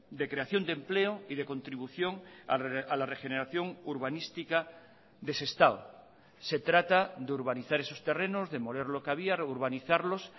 de creación de empleo y de contribución a la regeneración urbanística de sestao se trata de urbanizar esos terrenos demoler lo que había reurbanizarlos